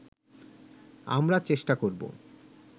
আমরা চেষ্টা করব